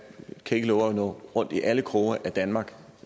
kan ikke love at nå rundt i alle kroge af danmark